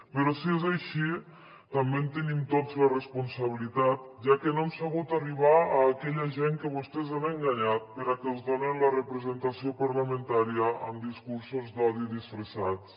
però si és així també en tenim tots la responsabilitat ja que no hem sabut arribar a aquella gent que vostès han enganyat perquè els donen la representació parlamentària amb discursos d’odi disfressats